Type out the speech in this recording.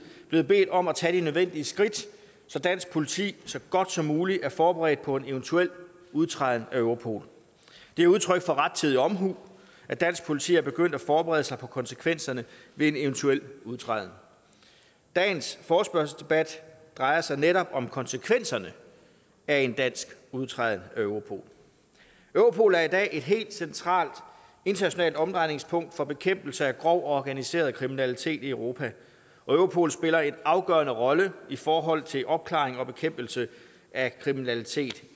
blevet bedt om at tage de nødvendige skridt så dansk politi så godt som muligt er forberedt på en eventuel udtræden af europol det er udtryk for rettidig omhu at dansk politi er begyndt at forberede sig på konsekvenserne ved en eventuel udtræden dagens forespørgselsdebat drejer sig netop om konsekvenserne af en dansk udtræden af europol europol er i dag et helt centralt internationalt omdrejningspunkt for bekæmpelse af grov og organiseret kriminalitet i europa og europol spiller en afgørende rolle i forhold til opklaring og bekæmpelse af kriminalitet